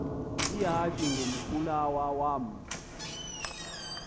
ihashe ngumkhulawa uam